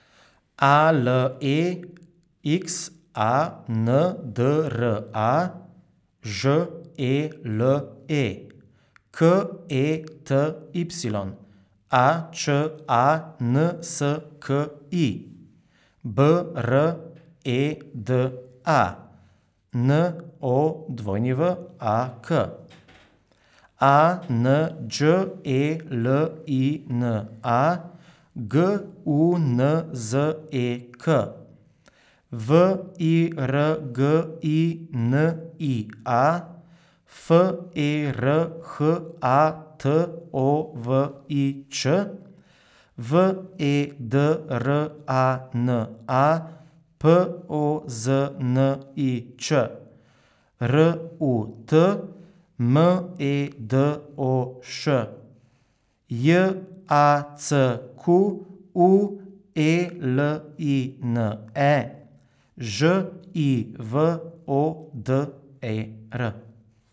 A L E X A N D R A, Ž E L E; K E T Y, A Č A N S K I; B R E D A, N O W A K; A N Đ E L I N A, G U N Z E K; V I R G I N I A, F E R H A T O V I Ć; V E D R A N A, P O Z N I Č; R U T, M E D O Š; J A C Q U E L I N E, Ž I V O D E R.